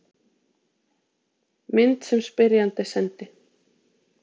Mynd sem spyrjandi sendi.